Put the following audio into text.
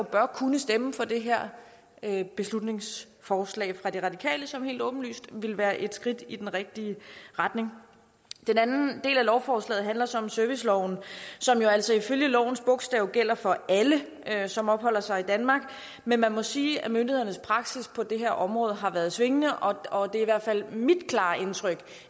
bør kunne stemme for det her beslutningsforslag fra de radikale som helt åbenlyst vil være et skridt i den rigtige retning den anden del af lovforslaget handler så om serviceloven som jo altså ifølge lovens bogstav gælder for alle som opholder sig i danmark men man må sige at myndighedernes praksis på det her område har været svingende og det er i hvert fald mit klare indtryk